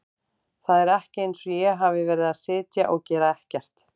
Það er ekki eins og ég hafi verið að sitja og gera ekkert.